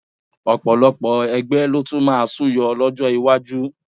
Ọ̀pọ̀ ẹgbẹ́ ló tún máa súyọ lọ́jọ́ iwájú